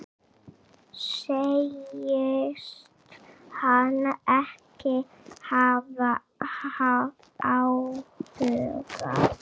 Segist hann ekki hafa áhuga?